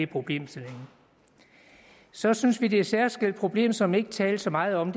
problemstillingen så synes vi det er et særskilt problem som der ikke tales så meget om